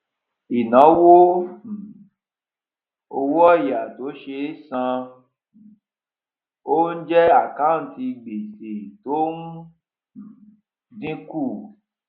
ìnáwó um owó òyà tó ṣe é san um jẹ àkáǹtì gbèsè tó ń um dínkù